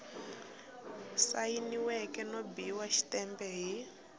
sayiniweke no biwa xitempe hi